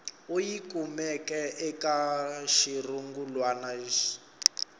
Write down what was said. u yi kumeke eka xirungulwana